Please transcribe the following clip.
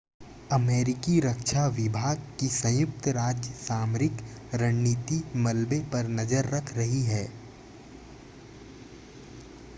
अमेरिकी रक्षा विभाग की संयुक्त राज्य सामरिक रणनीति मलबे पर नज़र रख रही है